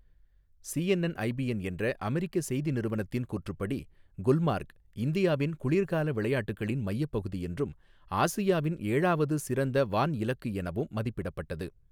CNN IBN என்றஅமெரிக்க செய்தி நிறுவனத்தின் கூற்றுப்படி குல்மார்க் இந்தியாவின் குளிர்கால விளையாட்டுகளின் மையப்பகுதி என்றும் ஆசியாவின் ஏழாவது சிறந்த வான் இலக்கு எனவும் மதிப்பிடப்பட்டது.